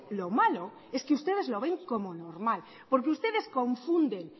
lo malo es que ustedes lo ven como normal porque ustedes confunden